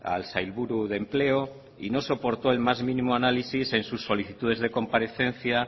al sailburu de empleo y no soportó el más mínimo análisis en sus solicitudes de comparecencia